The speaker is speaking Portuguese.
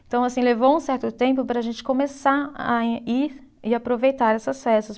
Então, assim, levou um certo tempo para a gente começar a ir e aproveitar essas festas.